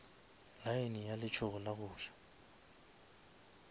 lane ya letsogo la goja